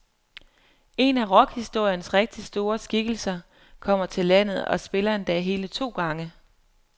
En af rockhistoriens rigtig store skikkelser kommer til landet og spiller endda hele to gange.